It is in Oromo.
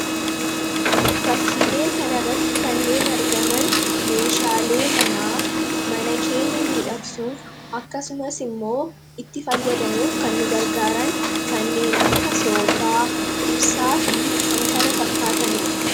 fakkiilee kanarratti kanneen argaman meeshaalee manaa ,mana keenya miidhaqsuuf akkasumas immoo itti fayyadamuuf kan nu gargaaran kanneen akka soofaa, ibsaa fi kan kana fakkaatanidha.